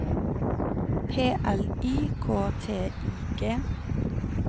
P L I K T I G